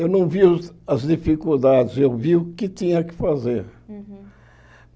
Eu não vi os as dificuldades, eu vi o que tinha que fazer. Uhum